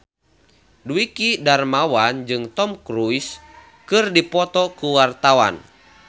Dwiki Darmawan jeung Tom Cruise keur dipoto ku wartawan